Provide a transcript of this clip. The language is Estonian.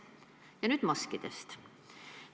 Aga nüüd maskidest.